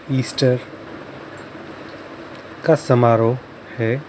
Easter का समारोह हैं ।